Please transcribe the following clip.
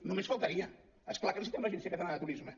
només faltaria és clar que necessitem l’agència catalana de turisme